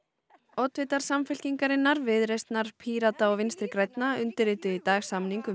oddvitar Samfylkingarinnar Viðreisnar Pírata og Vinstri grænna undirrituðu í dag samning um